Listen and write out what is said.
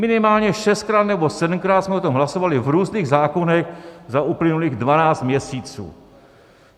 Minimálně šestkrát nebo sedmkrát jsme o tom hlasovali v různých zákonech za uplynulých dvanáct měsíců.